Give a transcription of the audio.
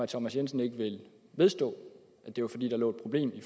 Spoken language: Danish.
thomas jensen ikke vedstå at det var fordi der lå et problem i